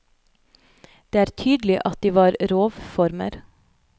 Det er tydelig at de var rovformer.